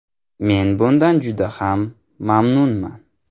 Men bundan juda ham mamnunman.